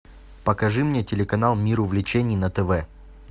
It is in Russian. покажи мне телеканал мир увлечений на тв